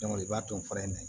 i b'a dɔn fura in na